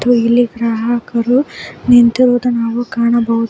ಇಲ್ಲಿ ಗ್ರಾಹಕರು ನಿಂತಿರುವುದನ್ನು ನಾವು ಕಾಣಬಹುದು.